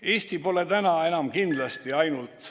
" Eesti pole täna enam kindlasti ainult ...